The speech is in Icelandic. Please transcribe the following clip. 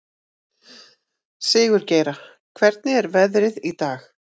Sigurgeira, hvernig er veðrið í dag?